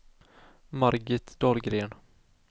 Margit Dahlgren